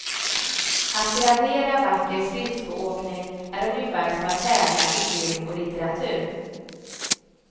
Att gradera vacker skridskoåkning är ungefär som att tävla i film och litteratur.